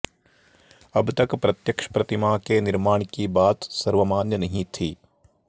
अबतक प्रत्यक्ष प्रतिमा के निर्माण की बात सर्वमान्य नहीं थी